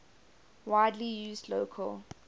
widely used local